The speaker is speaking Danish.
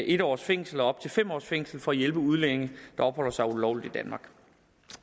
en års fængsel og op til fem års fængsel for at hjælpe udlændinge der opholder sig ulovligt i danmark